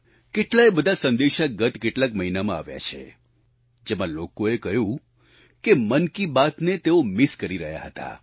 કેટલાયે બધા સંદેશા ગત કેટલાક મહિનામાં આવ્યા છે જેમાં લોકોએ કહ્યું કે મન કી બાત ને તેઓ મિસ કરી રહ્યા હતા